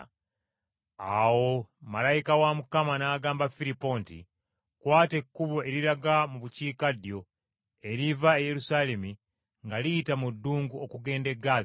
Awo malayika wa Mukama n’agamba Firipo nti, “Kwata ekkubo eriraga mu bukiikaddyo, eriva e Yerusaalemi nga liyita mu ddungu okugenda e Ggaaza.”